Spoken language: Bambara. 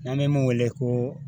N'an bɛ min wele ko